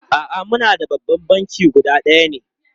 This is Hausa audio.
A'a, muna da babban banki guda ɗaya ne.